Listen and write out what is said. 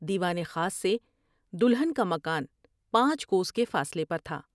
دیوان خاص سے دلہن کا مکان پانچ کوس کے فاصلے پر تھا ۔